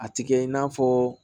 A ti kɛ i n'a fɔ